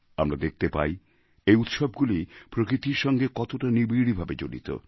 আমরা দেখতে পাই এই উৎসবগুলি প্রকৃতির সঙ্গে কতটা নিবিড় ভাবে জড়িত